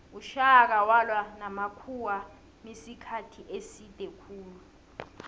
ushaka walwa namakhuwamisikhathi eside khulu